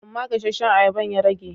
Amma gasasshen ayaban ya rage.